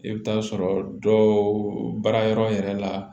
I bɛ t'a sɔrɔ dɔw baara yɔrɔ yɛrɛ la